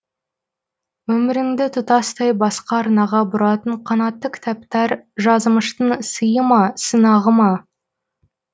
өміріңді тұтастай басқа арнаға бұратын қанатты кітаптар жазымыштың сиы ма сынағы ма